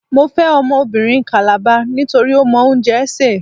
Mo fẹ́ ọmọbìnrin Kàlàba nítorí ó mọ oúnjẹ sè.